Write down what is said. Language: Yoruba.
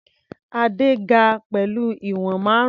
Adé ga pẹ̀lú ìwọ̀n márùn-ún.